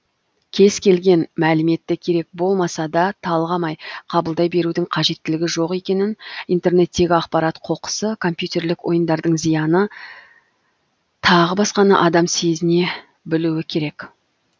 кез келген мәліметті керек болмаса да талғамай қабылдай берудің қажеттілігі жоқ екенін интернеттегі ақпарат қоқысы компьютерлік ойындардың зияны тағы басқаны адам сезіне білуі керек